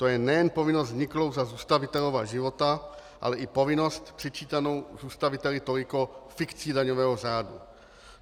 To je nejen povinnost vzniklou za zůstavitelova života, ale i povinnost přičítanou zůstaviteli toliko fikcí daňového řádu.